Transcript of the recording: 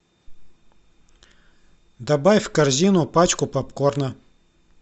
добавь в корзину пачку попкорна